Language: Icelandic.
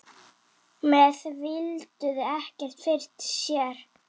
Menn víluðu ekkert fyrir sér.